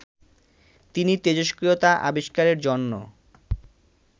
তিনি তেজস্ক্রিয়তা আবিষ্কারের জন্য